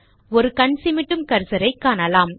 ஒரு கண் சிமிட்டும் கர்சரை காணலாம்